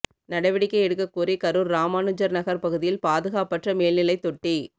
நடவடிக்கை எடுக்க கோரிக்கை கரூர் ராமனுஜர் நகர் பகுதியில் பாதுகாப்பற்ற மேல்நிலை தொட்டி